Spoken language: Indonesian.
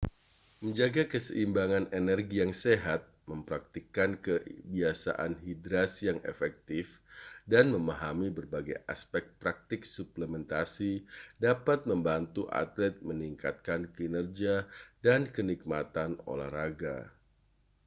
menjaga keseimbangan energi yang sehat mempraktikkan kebiasaan hidrasi yang efektif dan memahami berbagai aspek praktik suplementasi dapat membantu atlet meningkatkan kinerja dan kenikmatan olahraga